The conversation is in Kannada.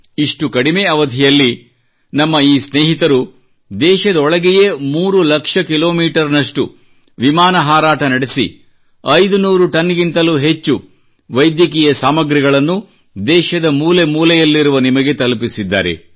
ಇಷ್ಟು ಕಡಿಮೆ ಅವಧಿಯಲ್ಲಿ ನಮ್ಮ ಈ ಸ್ನೇಹಿತರು ದೇಶದೊಳಗೆಯೇ ಮೂರು ಲಕ್ಷ ಕಿಲೋಮೀಟರ್ ನಷ್ಟು ವಿಮಾನ ಹಾರಾಟ ನಡೆಸಿ 500 ಟನ್ಗಿಂತಲೂ ಹೆಚ್ಚು ವೈದ್ಯಕೀಯ ಸಾಮಗ್ರಿಗಳನ್ನು ದೇಶದ ಮೂಲೆ ಮೂಲೆಯಲ್ಲಿರುವ ನಿಮಗೆ ತಲುಪಿಸಿದ್ದಾರೆ